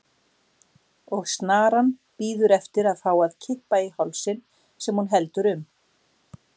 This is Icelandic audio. Og snaran bíður eftir að fá að kippa í hálsinn sem hún heldur um.